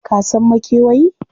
Ka san makewayi?